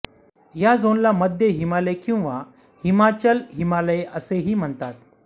या झोनला मध्य हिमालय किंवा हिमाचल हिमालय असेही म्हणतात